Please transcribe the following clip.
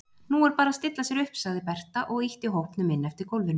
Nú er bara að stilla sér upp, sagði Berta og ýtti hópnum inn eftir gólfinu.